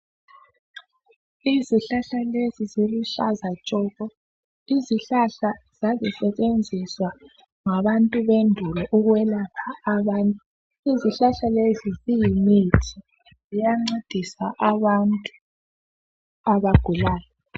Izihlahla lezi ziluhlaza tshoko izihlahla zazisetshenziswa ngabantu bendulo ukwelapha abantu. Izihlahla lezi ziyimithi ziyancedisa abantu abagulayo